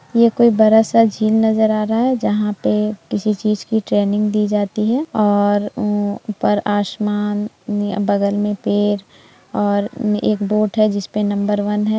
ये कोई बड़ा स झील नजर आ रहा है जहाँ पे किसी चीज की ट्रैनिंग दी जाती है और वो ऊपर आसमान नी बगल में पेड़ और नी एक बोट है जिस पर नंबर वन है।